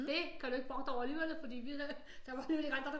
Det kan du ikke brokke dig over alligevel for der var ikke andre der